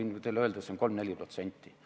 Ma võin teile öelda, see on 3–4%.